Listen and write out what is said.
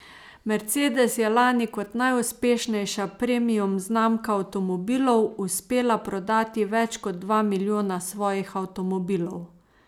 Mercedes je lani kot najuspešnejša premium znamka avtomobilov uspela prodati več kot dva milijona svojih avtomobilov.